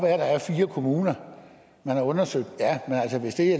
at der er fire kommuner man har undersøgt